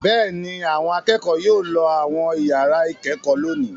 Bẹ́ẹ̀ ni, àwọn akẹ́kọ̀ọ́ yóò lọ àwọn ìyàrá-ìkẹ́kọ̀ọ́ lónìí.